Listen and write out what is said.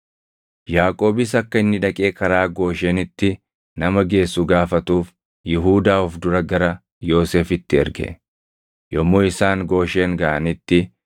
Yaaqoobis akka inni dhaqee karaa Gooshenitti nama geessu gaafatuuf Yihuudaa of dura gara Yoosefitti erge. Yommuu isaan Gooshen gaʼanitti,